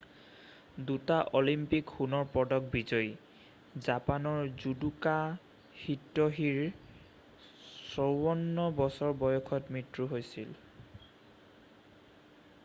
2টা অলিম্পিক সোণৰ পদক বিজয়ী জাপানৰ জুদোকা হিত্যশিৰ 54 বছৰ বয়সত মৃত্যু হৈছিল